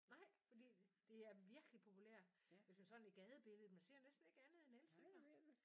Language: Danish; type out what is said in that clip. Nej? Fordi det er virkelig populær jeg synes sådan i gadebilledet man ser ikke andet end elcykler